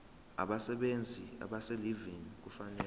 abasebenzi abaselivini kufanele